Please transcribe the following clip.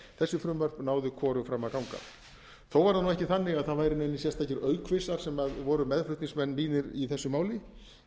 þessi frumvörp náðu hvorug fram að ganga þó var það nú ekki þannig að það væru neinir sérstakir aukvisar sem voru meðflutningsmenn mínir í þessu máli ég